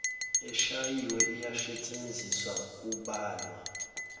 eshayiwe iyasetshenziswa kubalwa